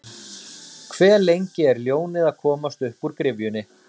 Hve lengi er ljónið að komast uppúr gryfjunni?